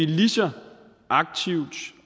lige så aktivt